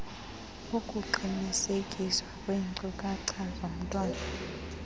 ukuqinisekiswa kweenkcukacha zomntwana